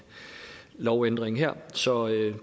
lovændringen her så